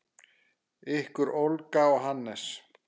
Ykkar Olga og Hannes.